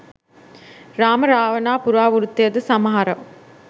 රාම රාවණා පුරාවෘත්තයද සමහර